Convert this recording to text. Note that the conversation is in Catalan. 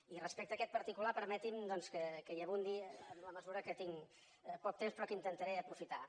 i respecte a aquest particular permetin doncs que hi abundi en la mesura que tinc poc temps però que intentaré aprofitar lo